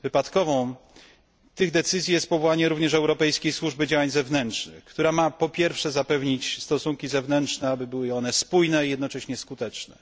Wypadkową tych decyzji jest powołanie również Europejskiej Służby Działań Zewnętrznych, która ma, po pierwsze, zapewnić stosunki zewnętrzne, aby były one spójne, a jednocześnie skuteczne.